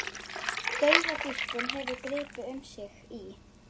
Dauðadýrkun hefur gripið um sig í